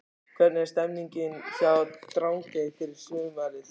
Hvernig er stemningin hjá Drangey fyrir sumarið?